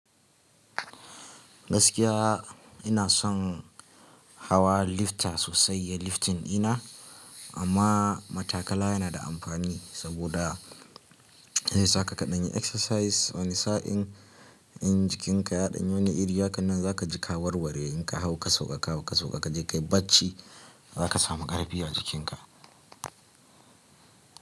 Gaskiya ina son hawa lifta sosai, ya liftin ina amma matakala yana da amfani saboda zai sa ka kaɗanyi exercise wani sa'in in jikinka ya ɗanyi wani iri, haka nan za ka ji ka warware in ka hau ka sauka, ka hau ka sauka ka je ka yi bacci za ka samu ƙarfi a jikinka.